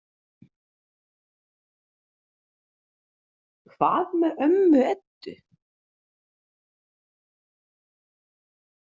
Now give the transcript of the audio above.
Hvað með ömmu Eddu?